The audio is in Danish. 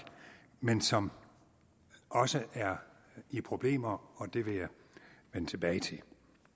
men som også er i problemer og det vil jeg vende tilbage til